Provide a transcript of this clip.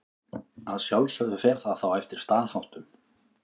Að sjálfsögðu fer það þá eftir staðháttum.